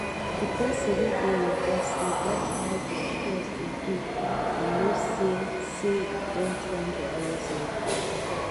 di person wey dey invest dey watch how di shares dey do e know say say e don climb to highest level